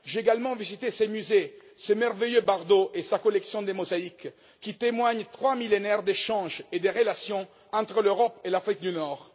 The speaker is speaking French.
J'ai également visité ses musées, ce merveilleux Bardo et sa collection de mosaïques, qui témoigne de trois millénaires d'échanges et de relations entre l'Europe et l'Afrique du Nord.